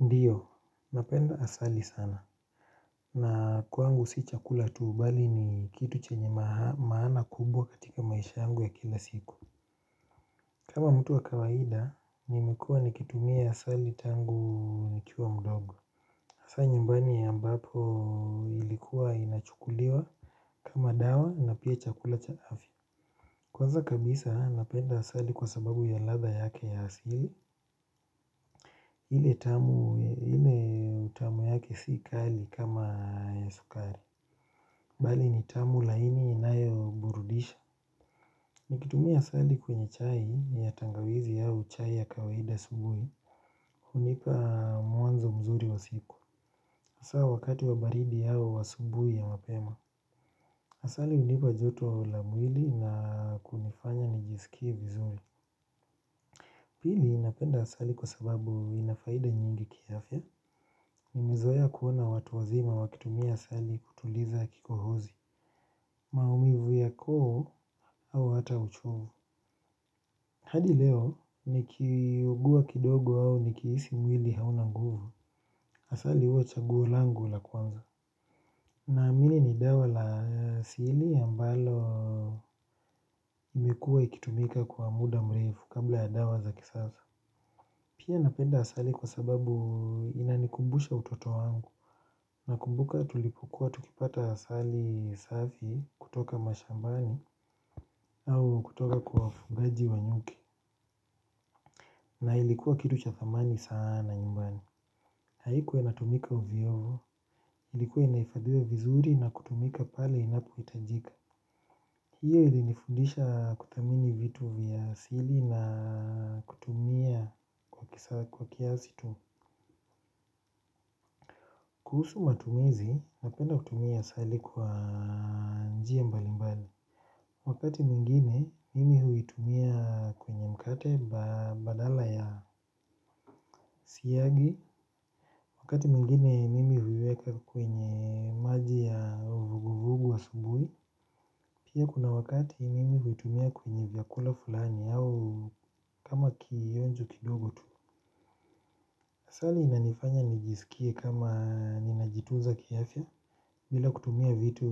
Ndiyo, napenda asali sana. Na kwangu si chakula tu bali ni kitu chenye maana kubwa katika maisha yangu ya kila siku. Kama mtu wa kawaida nimekuwa nikitumia asali tangu nikiwa mdogo hasa nyumbani ambapo ilikuwa inachukuliwa kama dawa na pia chakula cha afya. Kwanza kabisa napenda asali kwa sababu ya ladha yake ya asili. Ile utamu yake si kali kama ya sukari. Bali ni tamu laini inayo burudisha. Nikitumia asali kwenye chai ya tangawizi au chai ya kawaida subuhi. Hunipa mwanzo mzuri wa siku. Hasa wakati wa baridi au asubuhi ya mapema. Asali hunipa joto lamwili na kunifanya nijisikie vizuri. Pili napenda asali kwa sababu inafaida nyingi kiafya. Ni mizoea kuona watu wazima wakitumia asali kutuliza kikohozi maumivu ya koo au hata uchovu hadi leo ni kiugua kidogo au ni kihisi mwili hauna nguvu asali huwa chaguo langu la kwanza na amini ni dawa la asili ambalo imekuwa ikitumika kwa muda mrefu kabla ya dawa za kisaza pia napenda asali kwa sababu inanikumbusha utoto wangu. Na kumbuka tulipukuwa tukipata asali safi kutoka mashambani au kutoka kwa wafugaji wa nyuki. Na ilikuwa kitu cha thamani sana nyumbani. Haikuwa inatumika ovyovyo ilikuwa inahifadhiwa vizuri na kutumika pale inapo hitajika. Hiyo ili nifundisha kuthamini vitu vya asili na kutumia kwa kiasi tu. Kuhusu matumizi napenda kutumia asali kwa njia mbali mbali. Wakati mwingine mimi huitumia kwenye mkate badala ya siagi. Wakati mwingine mimi huiweka kwenye maji ya uvuguvugu asubuhi pia kuna wakati mimi huitumia kwenye vyakula fulani au kama kionjo kidogo tu asali inanifanya nijisikie kama ninajitunza kiasi. Bila kutumia vitu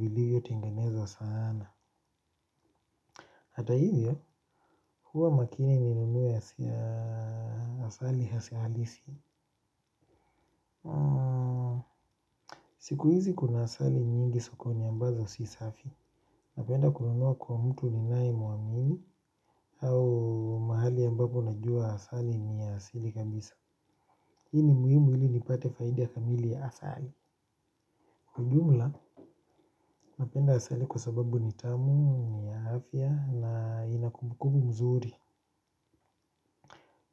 viliyo tenganezwa sana. Hata hivyo, huwa makini ninunue asali halisi. Siku hizi kuna asali nyingi sokoni ambazo si safi. Napenda kuunua kwa mtu ninayemuamini. Au mahali ambapo najua asali ni asili kabisa. Hii ni muhimu ili nipate faidi ya kamili ya asali. Kwa ujumla, napenda asali kwa sababu ni tamu ni ya afya na inakumbukumbu mzuri.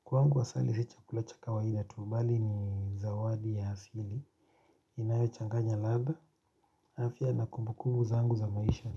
Kwangu asali si chakula cha kawaida tu bali ni zawadi ya hasili. Inayo changanya ladha. Afya na kumbukumbu zangu za maisha.